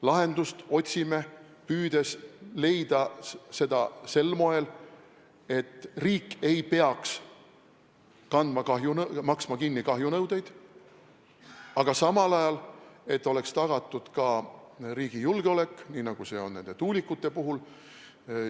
Lahendust me püüame leida sel moel, et riik ei peaks maksma kinni kahjunõudeid, aga samal ajal oleks tagatud riigi julgeolek, nii nagu see on nende tuulikute puhul.